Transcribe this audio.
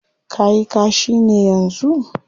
Ka yi kashi ne yanzu?